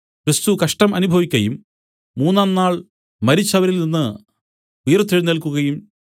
ക്രിസ്തു കഷ്ടം അനുഭവിക്കയും മൂന്നാം നാൾ മരിച്ചവരിൽ നിന്നു ഉയിർത്തെഴുന്നേല്ക്കുകയും